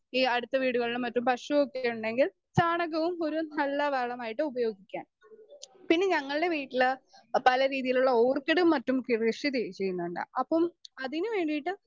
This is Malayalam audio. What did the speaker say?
സ്പീക്കർ 2 ഈ അടുത്ത വീടുകളിലും മറ്റും പശുവൊക്കെ ഉണ്ടെങ്കിൽ ചാണകവും ഒരു നല്ല വളമായിട്ട് ഉപയോഗിക്കാം.പിന്നെ ഞങ്ങൾടെ വീട്ടില് പല രീതിയിലുള്ള ഓർക്കിഡും മറ്റും കൃഷിചെ ചെയ്യുന്നുണ്ട് അപ്പം അതിന് വേണ്ടിയിട്ട്